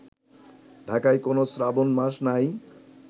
ঢাকায় কোন শ্রাবণ মাস নাই